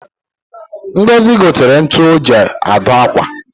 Ngozi gotere ntu o ji adụ akwa